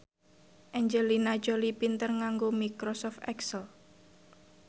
Angelina Jolie pinter nganggo microsoft excel